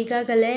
ಈಗಾಗಲೇ